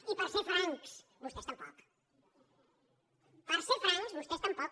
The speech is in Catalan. i per ser francs vostès tampoc per ser francs vostès tampoc